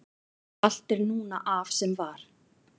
allt er núna af sem var